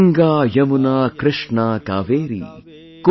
Ganga, Yamuna, Krishna, Kaveri,